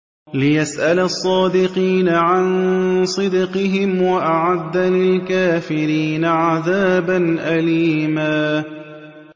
لِّيَسْأَلَ الصَّادِقِينَ عَن صِدْقِهِمْ ۚ وَأَعَدَّ لِلْكَافِرِينَ عَذَابًا أَلِيمًا